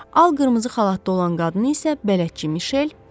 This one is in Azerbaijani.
Ağ qırmızı xalatda olan qadını isə bələdçi Mişel.